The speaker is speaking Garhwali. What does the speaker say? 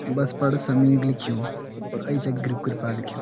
बस पर समीर लिखूं और एंच गुरु कृपा लिख्युं।